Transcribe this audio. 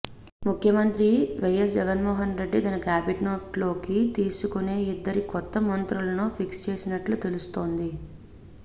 ముఖ్యమంత్రి వైఎస్ జగన్మోహన్ రెడ్డి తన కేబినెట్లోకి తీసుకునే ఇద్దరు కొత్త మంత్రులను ఫిక్స్ చేసినట్లు తెలుస్తోంది